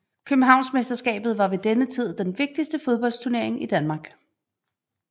Københavnsmesterskabet var ved denne tid den vigtigste fodboldsturnering i Danmark